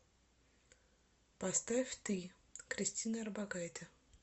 поставь ты кристина орбакайте